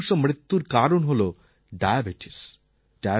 তিন শতাংশ মৃত্যুর কারণ হল ডায়াবেটিস